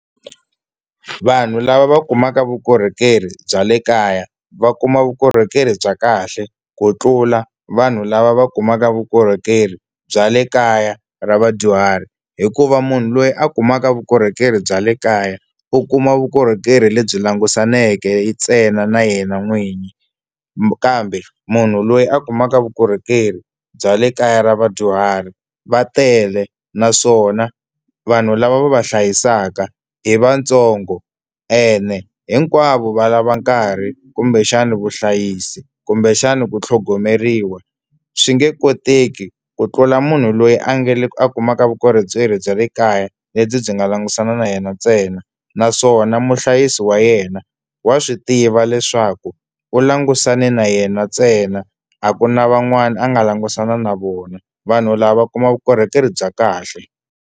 Vanhu lava va kumaka vukorhokeri bya le kaya va kuma vukorhokeri bya kahle ku tlula vanhu lava va kumaka vukorhokeri bya le kaya ra vadyuhari hikuva munhu loyi a kumaka vukorhokeri bya le kaya u kuma vukorhokeri lebyi langusaneke ntsena na yena n'wini kambe munhu loyi a kumaka vukorhokeri bya le kaya ra vadyuhari va tele naswona vanhu lava va va hlayisaka hi vantsongo ene hinkwavo va lava nkarhi kumbexana vuhlayisi kumbexana ku tlhogomeriwa swi nge koteki ku tlula munhu loyi a nga le a kumaka vukorhokeri bya le kaya lebyi byi nga langusana na yena ntsena naswona muhlayisi wa yena wa swi tiva leswaku u langusane na yena ntsena a ku na van'wani a nga langutisana na vona vanhu lava va kuma vukorhokeri bya kahle.